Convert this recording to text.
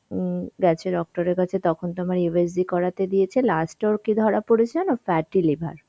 উম গেছে doctor এর কাছে তখন তো আমার USGকরাতে দিয়েছে last এ ওর কি ধরা পড়েছে জানো, fatty liver.